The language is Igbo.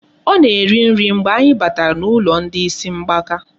Ọ na-eri nri mgbe anyị batara n'ụlọ ndị isi mgbaka.